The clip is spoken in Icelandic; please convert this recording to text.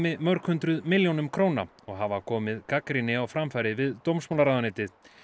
mörg hundruð milljónum króna og hafa komið gagnrýni á framfæri við dómsmálaráðuneytið